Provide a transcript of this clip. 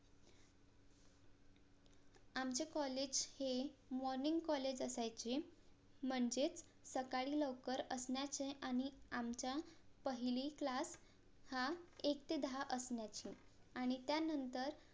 आमचे COLLAGE हे MORNING COLLAGE असायचे म्हणजेच सकाळी लवकर असण्याचे आणि आमच्या पहिली CLASS हा एक ते दहा असण्याची आणि त्यानंतर